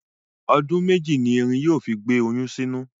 Ọdún mẹ́jì ni erin yóò fi gbé oyún sínú.